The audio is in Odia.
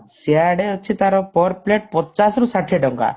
ସିଆଡେ ଅଛି ତାର per plate ପଚାଶରୁ ଷାଠିଏ ଟଙ୍କା